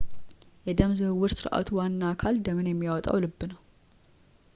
የደም ዝውውር ሥርዓቱ ዋና አካል ደምን የሚያወጣው ልብ ነው